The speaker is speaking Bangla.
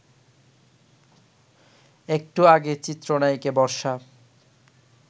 একটু আগে চিত্রনায়িকা বর্ষা